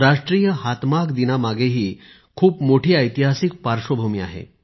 राष्ट्रीय हातमाग दिनामागेही खूप मोठी ऐतिहासिक पार्श्वभूमी आहे